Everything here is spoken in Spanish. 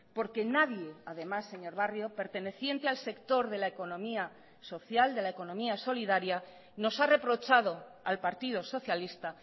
porque nadie además señor barrio perteneciente al sector de la economía social de la economía solidaria nos ha reprochado al partido socialista